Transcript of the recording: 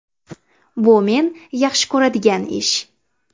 Bu men yaxshi ko‘radigan ish.